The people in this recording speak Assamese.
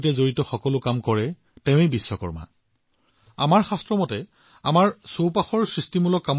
আপোনালোকে ভাবি চাওক যদি ঘৰত বিদ্যুতৰ কোনো সমস্যা হৈছে আৰু আপুনি কোনো ইলেক্ট্ৰিচিয়ান নাপায় তেন্তে কি হব আপুনি কি সমস্যাৰ সন্মুখীন হব